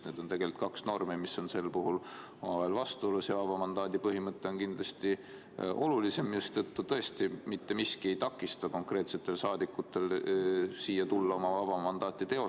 Need on tegelikult kaks normi, mis on selles olukorras omavahel vastuolus, ja vaba mandaadi põhimõte on kindlasti olulisem, mistõttu tõesti mitte miski ei takista rahvasaadikutel tulla siia oma vaba mandaati teostama.